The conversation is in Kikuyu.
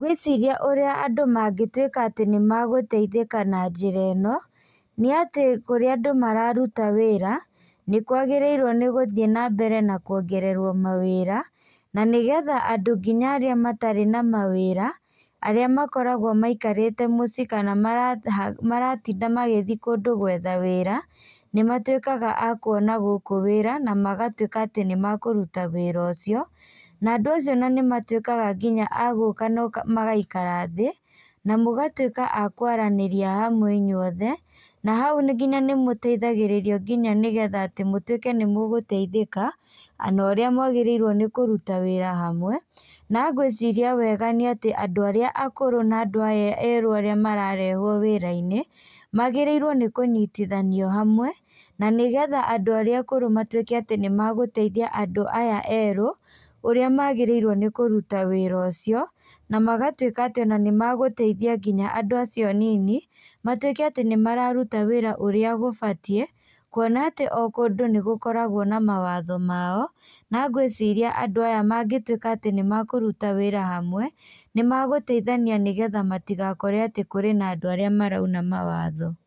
Ngwĩciria ũrĩa andũ mangĩtwika atĩ nĩ magũteithika na njĩra ino nĩ atĩ ũria andũ mararuta wĩra nĩ kwagĩrĩirwo nĩ gũthiĩ na mbere na kũongererwo mawĩra na nĩgetha andũ nginya arĩa matarĩ na mawĩra, arĩa makoragwo maikarĩte mũcie kana maratinda magĩthiĩ kũndũ gwetha wĩra nĩ matwĩkaga a kũona gũkũ wĩra na magatwika atĩ nĩ makũrũta wĩra ũcio na andũ acio ona nĩ matwĩkaga nginya agũka na magaikara thĩ na mũgatwĩka akwaranĩria hamwe inyuothe na hau nginya ni mũteithagĩrĩrio nginya nĩgetha mũtũĩke nĩ mũgũteithĩka na ũrĩa mwagĩrĩirwo nĩ kũrũta wĩra hamwe na ngwĩciria wega nĩ atĩ andũ arĩa akũrũ na andũ aye erũ mararehwo wĩra-inĩ magĩrĩrwo nĩkũnyitithanio hamwe na nĩgetha andũ arĩa akũrũ matwĩke atĩ nĩmeguteithia andũ aya erũ ũrĩa magĩrĩrwo nĩ kũrũta wĩra ũcio na magatwĩka atĩ nĩ magũteithia nginya andũ acio a nini matwĩke atĩ nĩ mararũta wĩra ũrĩa gũbatie kuona atĩ o kũndũ nĩgũkoragwo na mawatho mao na ngwĩciria andũ aya mangĩtwĩka atĩ nĩ makũrũta wĩra hamwe nĩ magũteithania nĩgetha matigakore atĩ kũrĩ na andũ arĩa marauna mawatho.